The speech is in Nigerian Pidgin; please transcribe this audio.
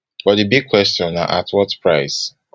but di big question na at what price